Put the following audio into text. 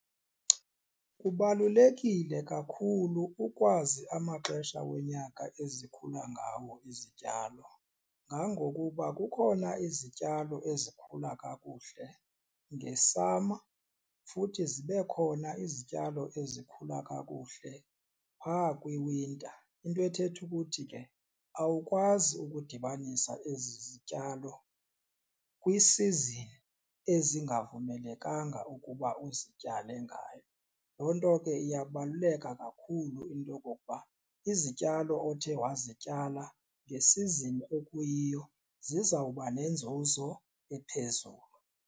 Kubalulekile kakhulu ukwazi amaxesha wonyaka ezikhula ngawo izityalo ngangokuba kukhona izityalo ezikhula kakuhle nge-summer futhi zibe khona izityalo ezikhula kakuhle phaa kwi-winter, into ethetha ukuthi ke awukwazi ukudibanisa ezi zityalo kwi-season ezingavumelekanga ukuba uzityale ngayo. Loo nto ke iyabaluleka kakhulu into okokuba izityalo othe wazityala nge-season ekuyiyo zizawuba nenzuzo ephezulu.